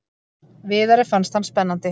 Viðari fannst hann spennandi.